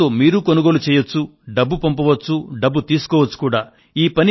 దీనితో కొనుగోలు చేయవచ్చు డబ్బు పంపవచ్చు డబ్బు తీసుకోవచ్చు కూడా